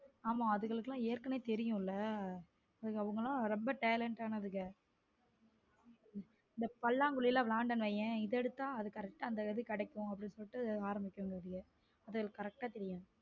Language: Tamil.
ஆமா அதுகளுக்கு எல்லாம் ஏற்கனவே தெரியும்ல அவங்களாம் ரொம்ப talent ஆனவங் இந்த பல்லாங்குலி லாம் விளையாடுனோம் வையே இது எடுத்தால் அது correct கிடைக்கும் அப்படின்னு சொல்லிட்ட அதுக்கு கரெக்டா தெரியும்.